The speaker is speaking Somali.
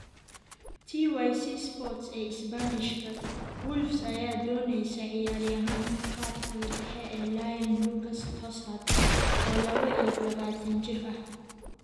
(TycSports, ee Isbaanishka) Wolves ayaa dooneysa ciyaaryahanka khadka dhexe ee Lyon Lucas Tousart, oo laba iyo labatanjir ah.